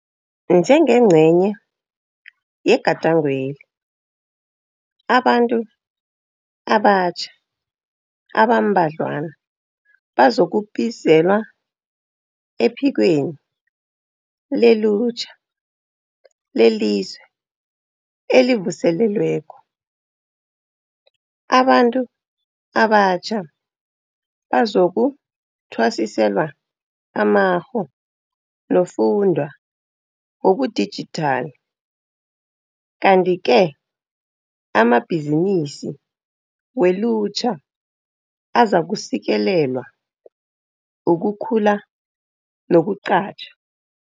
Njengengcenye yega dangweli, abantu abatjha abambadlwana bazokubizelwa ePhikweni leLutjha leliZwe elivuselelweko. Abantu abatjha bazoku thwasiselwa amakgho nofundwa wobudijithali kanti-ke amabhizinisi welutjha azakusekelelwa ukukhula nokuqatjha.